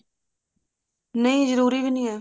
ਨਹੀਂ ਜਰੂਰੀ ਵੀ ਨੀ ਹੈ